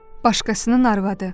Başqasının arvadı.